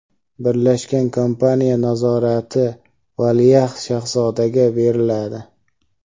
Birlashgan kompaniya nazorati valiahd shahzodaga beriladi.